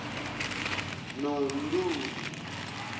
nontuli